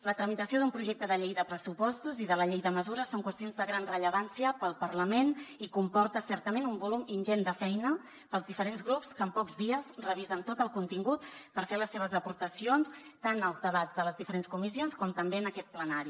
la tramitació d’un projecte de llei de pressupostos i de la llei de mesures són qüestions de gran rellevància per al parlament i comporta certament un volum ingent de feina per als diferents grups que en pocs dies revisen tot el contingut per fer les seves aportacions tant als debats de les diferents comissions com també en aquest plenari